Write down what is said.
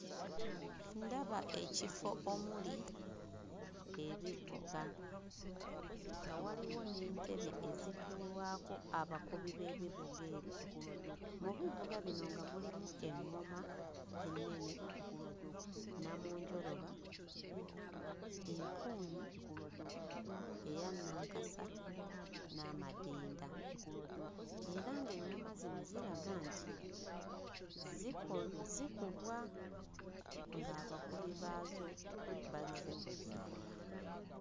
Ndaba ekifo omuli ebivuga nga waliwo n'entebe ezituulwako abakubi b'ebivuga ebyo. Mu bivuga bino nga mulimu eŋŋoma ennene, nnamunjoloba, empuunyi, eya nnankasa n'amadinda. Era ng'eŋŋoma zino ziraga nti ziko zikubwa ng'abakibi baazo bazze ozzikuba.